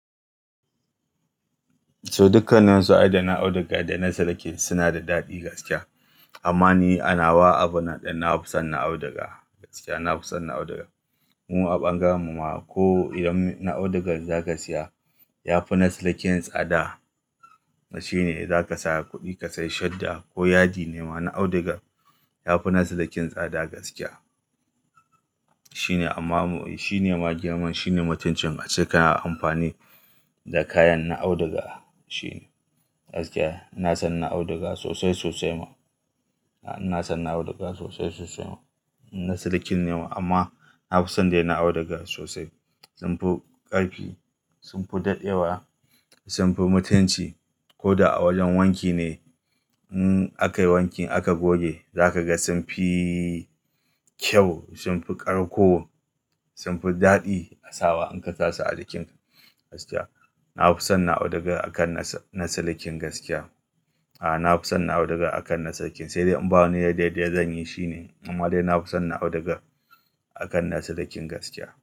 So dukkanin su ai da audugar da na siliki suna da daɗi gaskiya. Amma ni ana wa abunan ɗin, na fi son na auduga gaskiya. Na fi son na auduga. Mu a bangaren mu ma ko idan na audugar zaka siya ya fi na silikin tsada. Shi ne zaka sa kuɗi ka sai shadda ko yadi nema na audugar ya fi na silikin tsada gaskiya. Shi ne amma shi ne ma girman shi ne mutuncin ace kana amfani da kayan na auduga. Shi ne gaskiya. Ina son na auduga sosai sosai ma. Ina son na auduga sosai sosai ma. In na silikin ne ma amma na fi son dai na auduga sosai. Sun fi ƙarfi, sun fi daɗewa, sun fi mutunci. Ko da a wajen wanki ne, in akai wankin aka goge zaka ga sun fi kyau, sun fi ƙarko, sun fi daɗi a sawa in ka sa su a jikinka gaskiya. Na fi son na'udaga akan nasalikin gaskiya. Aa, na fi son na auduga akan na silikin. Sai dai in ba wani yai daidai zan yi shi ne. Amma dai na fi son na audugar akan na silikin gaskiya.